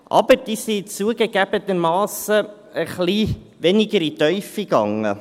Aber diese gingen zugegebenermassen etwas weniger in die Tiefe.